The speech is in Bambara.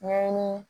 Ɲɛɲini